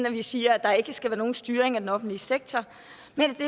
at vi siger at der ikke skal være nogen styring af den offentlige sektor